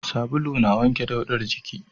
Sabulu na wanke daudar jiki